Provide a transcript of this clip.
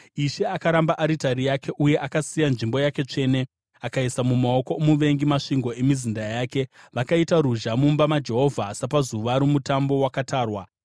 Ishe akaramba aritari yake uye akasiya nzvimbo yake tsvene. Akaisa mumaoko omuvengi masvingo emizinda yake; vakaita ruzha mumba maJehovha sapazuva romutambo wakatarwa.